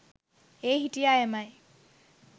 ඒ හිටිය අයමයි.